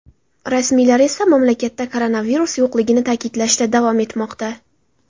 Rasmiylar esa mamlakatda koronavirus yo‘qligini ta’kidlashda davom etmoqda.